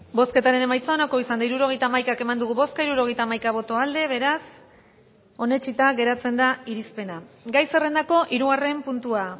bozketaren emaitza onako izan da hirurogeita hamaika eman dugu bozka hirurogeita hamaika boto aldekoa beraz onetsita geratzen da irizpena gai zerrendako hirugarren puntua